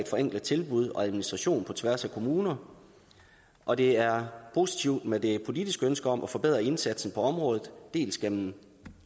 forenkles tilbud og administration på tværs af kommuner og det er positivt med det politiske ønske om at forbedre indsatsen på området dels gennem